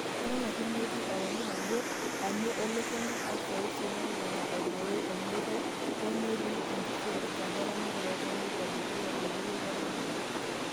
Eton ake metii ewangan ajoo anu elo Kenya o seuseu nalulunga aibooyo olmeitai, hoo, netii neeti nkisiligat eramatare olchani elo dukuya eboloto eramatare.